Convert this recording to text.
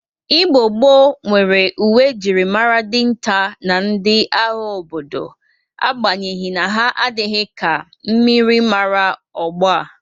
Igbo gboo nwere uwe e jiri mara dịnta na ndị agha obodo agbanyeghi na ha adịghị ka myịrịmara ogbo a.